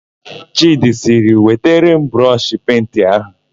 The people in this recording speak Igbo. Chịdị sịrị, "wetara m brọshị penti áhụ̀"!